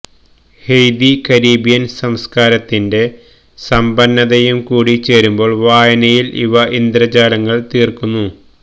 Haiti Caribbean സംസ്കാരത്തിന്റെ സമ്പന്നതയും കൂടി ചേരുമ്പോൾ വായനയിൽ അവ ഇന്ദ്രജാലങ്ങൾ തീർക്കുന്നു